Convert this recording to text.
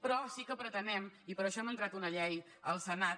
però sí que pretenem i per això hem entrat una llei al senat